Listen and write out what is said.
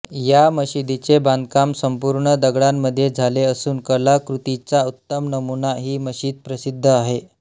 या मशीदीचे बांधकाम संपूर्ण दगडामध्ये झाले असून कला कृतीचा उत्तम नमुना ही मशीद प्रसिद्ध आहे